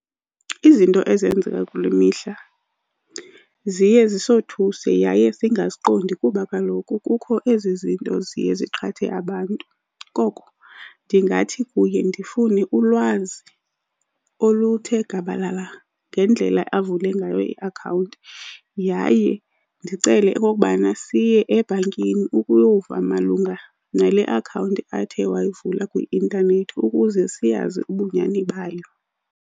Izinto ezenzeka kule mihla ziye zisothuse yaye singaziqondi kuba kaloku kukho ezi zinto ziye ziqhathe abantu. Koko ndingathi kuye ndifune ulwazi oluthe gabalala ngendlela avule ngayo iakhawunti, yaye ndicele okokubana siye ebhankini ukuyova malunga nale akhawunti athe wayivula kwi-intanethi ukuze siyazi ubunyani bayo.